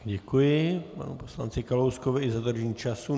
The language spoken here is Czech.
Děkuji panu poslanci Kalouskovi i za dodržení času.